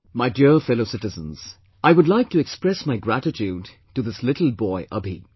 My dear fellow citizens, I would like to express my gratitude to this little boy Abhi